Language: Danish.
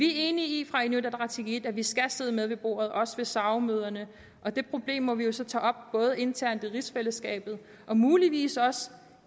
i inuit ataqatigiit at vi skal sidde med ved bordet også ved sao møderne og det problem må vi jo så tage op internt i rigsfællesskabet og muligvis også